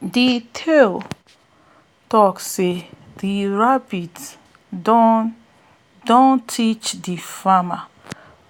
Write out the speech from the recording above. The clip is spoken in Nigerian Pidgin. de tale talk sey de rabbit don don teach de farmer